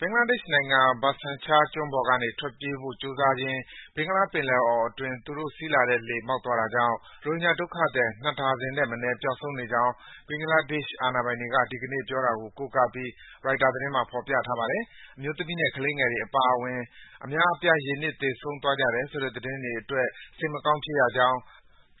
ဘင်္ဂလားဒေ့ရှ်နိုင်ငံ၊ Bhasan Char ကျွန်းပေါ်ကနေ ထွက်ပြေးဖို့ကြိုးစားရင်း ဘင်္ဂလားပင်လယ်အော်အတွင်း သူတို့စီးလာတဲ့လှေ မှောက်သွားတာကြောင့် ရိုဟင်ဂျာဒုက္ခသည် ၂ ဒါဇင်ထက်မနည်း ပျောက်ဆုံးနေကြောင်း ဘင်္ဂလားဒေ့ရှ် အာဏာပိုင်တွေက ဒီကနေ့ ပြောတာကို ကိုးကားပြီး ရိုက်တာသတင်းမှာ ဖော်ပြထားပါတယ်။ အမျိုးသမီးနဲ့ ကလေးငယ်တွေအပါအဝင် အများအပြား ရေနစ်သေဆုံးသွားကြတယ်ဆိုတဲ့သတင်းအတွက် စိတ်မကောင်းဖြစ်ရကြောင်း